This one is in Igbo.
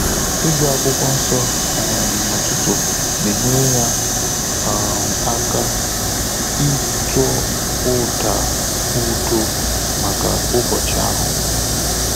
Ị́gụ́ Ákwụ́kwọ́ Nsọ́ um n’ụ́tụ́tụ̀ nà-ényéré yá um áká ị́tọ́ ụ́dà údo màkà ụ́bọ́chị̀ áhụ́.